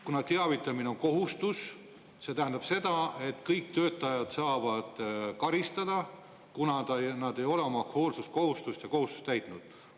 Kuna teavitamine on kohustus, kas siis see tähendab seda, et kõik töötajad saavad karistada, kui nad ei ole oma hoolsuskohustust ja kohustust täitnud?